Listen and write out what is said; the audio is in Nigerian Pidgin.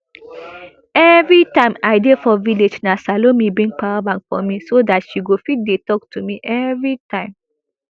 evritime i dey for village na salome bring power bank for me so dat she go fit dey tok to me evritime